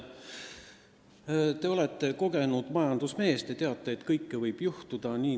Te olete kogenud majandusmees ja teate, et kõike võib juhtuda.